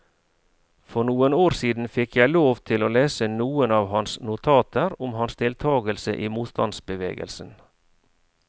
For noen år siden fikk jeg lov til å lese noen av hans notater om hans deltagelse i motstandsbevegelsen.